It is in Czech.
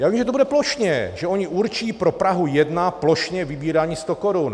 Já vím, že to bude plošně, že oni určí pro Prahu 1 plošně vybírání 100 korun.